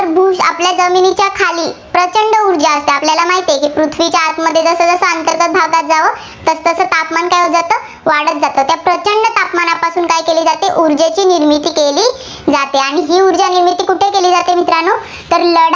तुम्हाला माहितेय की पृथ्वीच्या आतमध्ये, जसं जसं अंतर्गत भागात जावं तसं तसं तापमान काय होतं? वाढत जातं. तर प्रचंड तापमानपासून काय केले जाते ऊर्जेची निर्मिती केली जाते. आणि भूऊर्जा निर्मिती कुठे केली जाते मित्रांनो तर